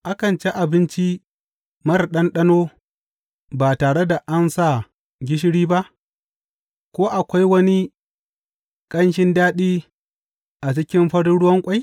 Akan cin abinci marar ɗanɗano ba tare da an sa gishiri ba, ko akwai wani ƙanshin daɗi a cikin farin ruwan ƙwai?